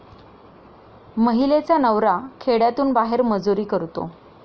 महिलेचा नवरा खेड्यातून बाहेर मजुरी करतो.